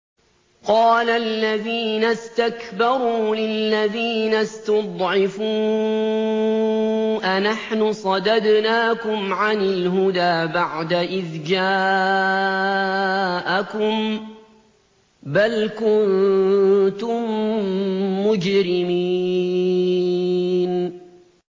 قَالَ الَّذِينَ اسْتَكْبَرُوا لِلَّذِينَ اسْتُضْعِفُوا أَنَحْنُ صَدَدْنَاكُمْ عَنِ الْهُدَىٰ بَعْدَ إِذْ جَاءَكُم ۖ بَلْ كُنتُم مُّجْرِمِينَ